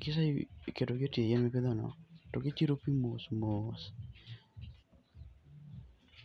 Kiseketogi e tie yien mipidhono, to gichiro pi mos mos.